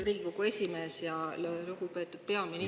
Riigikogu esimees ja lugupeetud peaminister!